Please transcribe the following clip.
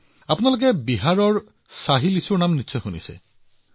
একেদৰে আপুনি নিশ্চয় বিহাৰৰ শাহী লিচ্চিৰ নাম শুনিছে